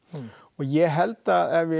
ég held að ef við